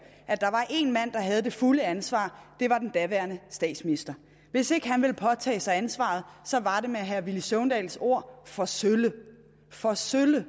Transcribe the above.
at der var én mand der havde det fulde ansvar det var den daværende statsminister hvis ikke han ville påtage sig ansvaret så var det med herre villy søvndals ord for sølle for sølle det